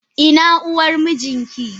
Ina uwar mijinki?